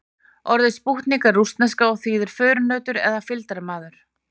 Orðið spútnik er rússneska og þýðir förunautur eða fylgdarmaður.